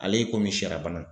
Ale ye komi shɛra bana.